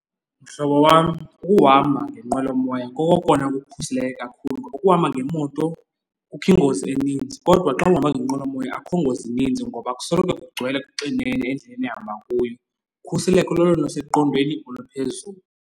Mhlobo wam, ukuhamba ngenqwelomoya kokona kukukhuseleke kakhulu. Ukuhamba ngemoto kukho ingozi eninzi, kodwa xa uhamba ngenqwelomoya akukho ngozi ininzi ngoba kusoloko kugcwele kuxinene endleleni ehamba kuyo. Ukhuseleko lolona luseqondeni oluphezulu.